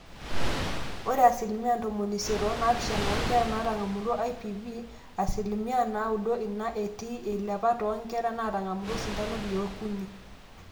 ore asilimia ntomoni isiet onaapishana oonkera netang'amutua IPV. asilimia naaudo ina etii eilepa toonkera naatang'amutua osindano liookuni